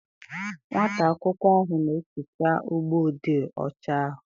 Nwata akwụkwọ ahụ na-ehicha ụgbọ odee ọcha ahụ.